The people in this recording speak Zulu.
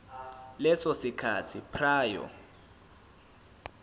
leso sikhathi prior